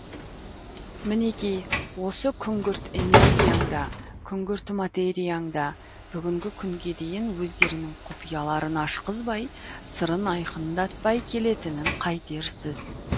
мінеки осы күңгірт энергияң да күңгірт материяң да бүгінгі күнге дейін өздерінің құпияларын ашқызбай сырын айқындатпай келетінін қайтерсіз